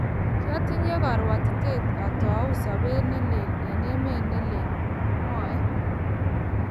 kiatinye karwotitaet atoi sobet ne leel eng emet ne leel, mwae.